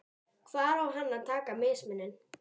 Hvar á hann að taka mismuninn?